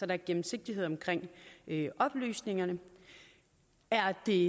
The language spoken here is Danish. er gennemsigtighed i oplysningerne er det